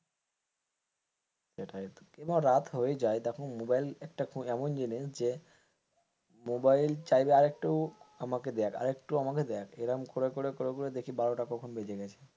সেটাইতো এবার রাত হয়ে যায় দেখো মোবাইল একটা এমন জিনিস যে মোবাইল চাইলে আরেকটু আমাকে দেখ আর একটু আমাকে দেখ এরকম করে করে দেখি বারোটা কখন বেজে গেছে।